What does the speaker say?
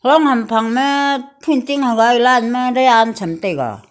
am hamphang ma thanting hagai lanma dian cham taiga.